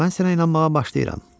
Mən sənə inanmağa başlayıram.